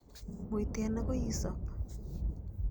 Muiten, akoi isop.